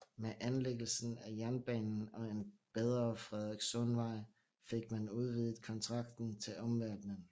Med anlæggelsen af jernbanen og en bedre Frederikssundsvej fik man udvidet kontakten til omverdenen